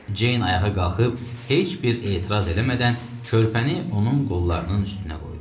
Ceyn ayağa qalxıb heç bir etiraz eləmədən körpəni onun qollarının üstünə qoydu.